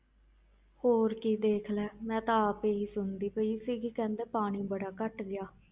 ਹੋਰ ਕੀ ਦੇਖ ਲੈ, ਮੈਂ ਤਾਂ ਆਪ ਇਹੀ ਸੁਣਦੀ ਪਈ ਸੀਗੀ ਕਹਿੰਦੇ ਪਾਣੀ ਬੜਾ ਘੱਟ ਗਿਆ।